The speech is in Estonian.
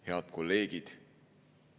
Head kolleegid!